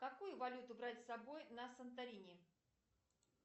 какую валюту брать с собой на сантарине